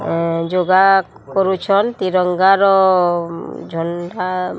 ଏଁ ଜଗା କରୁଛନ୍ ତିରଙ୍ଗାର ଝଣ୍ଡା --